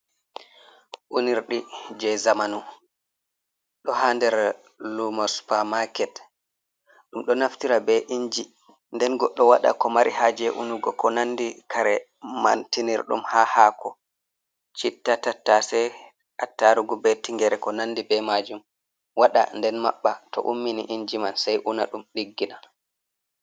Unirɗi je zamanu ɗo ha nder lumo spermaket, ɗum ɗo naftira be inji nden goɗɗo waɗa ko mari haje'unugo, ko nandi kare mantinirɗum ha hako, chitta, tattasei, attarugu, be tingere, ko nandi be majum waɗa nden maɓɓa to ummini inji man sei una ɗum ɗiggina.